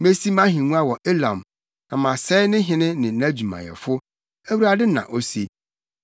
Mesi mʼahengua wɔ Elam na masɛe ne hene ne nʼadwumayɛfo,” Awurade na ose.